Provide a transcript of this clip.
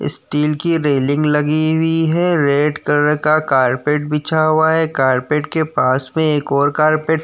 steel की railing लगी हुई हैं रेड कलर का कारपेट बिछा हुआ हैं कारपेट के पास में एक और कारपेट --